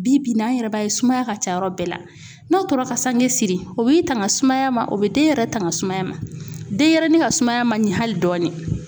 Bi bi in na an yɛrɛ b'a ye sumaya ka ca yɔrɔ bɛɛ la n'a tora ka sange siri o b'i tanga sumaya ma o bɛ den yɛrɛ tanga sumaya ma denyɛrɛnin ka sumaya ma ɲɛ hali dɔɔni.